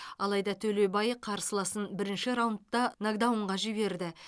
алайда төлебай қарсыласын бірінші раундта нокдаунға жіберді